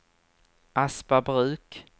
Aspabruk